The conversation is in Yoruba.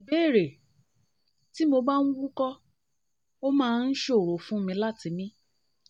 ìbéèrè: tí ìbéèrè: tí mo bá ń wúkọ́ ó máa ń ṣòro fún mi láti mi